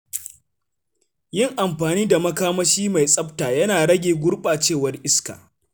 Yin amfani da makamashi mai tsafta yana rage gurɓacewar iska.